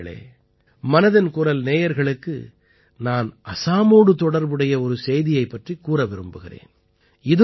நண்பர்களே மனதின் குரல் நேயர்களுக்கு நான் அஸாமோடு தொடர்புடைய ஒரு செய்தியைப் பற்றிக் கூற விரும்புகிறேன்